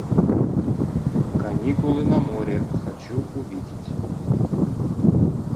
каникулы на море хочу увидеть